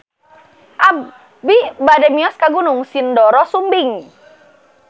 Abi bade mios ka Gunung Sindoro Sumbing